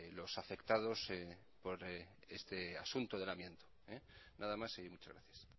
los afectados por este asunto del amianto nada más y muchas gracias